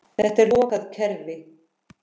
Þetta er lokað kerfi.